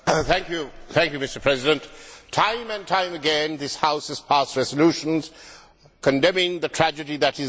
Mr President, time and time again this House has passed resolutions condemning the tragedy that is Zimbabwe.